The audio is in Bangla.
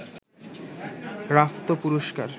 রাফতো পুরস্কার